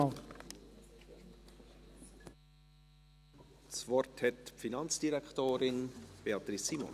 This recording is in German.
Das Wort hat die Finanzdirektorin, Beatrice Simon.